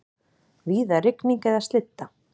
Víða rigning eða slydda